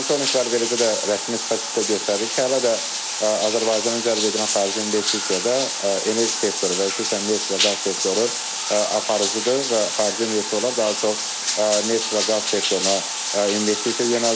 Monitorinqlər, eləcə də rəsmi statistika göstərir ki, hələ də Azərbaycanın cəlb edirən xarici investisiyada enerji sektoru və xüsusən neft və qaz sektoru aparıcıdır və xarici investorlar daha çox neft və qaz sektoruna investisiya yönəldirlər.